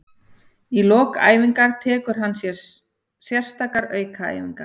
Í lok æfinga tekur hann sérstakar aukaæfingar.